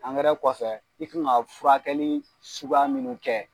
Angɛrɛ kɔfɛ i kan ka furakɛli suguya minnu kɛ